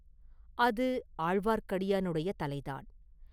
அது ஆழ்வார்க்கடியானுடைய தலைதான்!